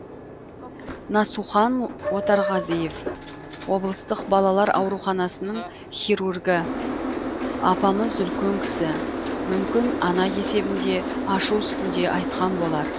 насухан отарғазиев облыстық балалар ауруханасының хирургі апамыз үлкен кісі мүмкін ана есебінде ашу үстінде айтқан болар